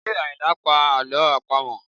Ṣé Ayinla ń pa àlọ́ àpamọ̀?